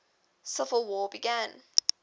civil war began